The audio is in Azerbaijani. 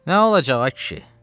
Nə olacaq, ay kişi?